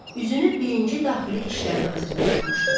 Üzünü birinci Daxili İşlər nazirinə tutmuşdu.